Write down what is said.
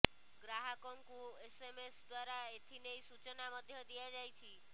ଗ୍ରାହକଙ୍କୁ ଏସ୍ଏମ୍ଏସ୍ ଦ୍ୱାରା ଏଥିନେଇ ସୂଚନା ମଧ୍ୟ ଦିଆ ଯାଇଛି